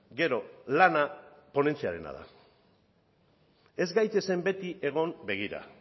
gero lana ponentziarena da ez gaitezen beti egon begira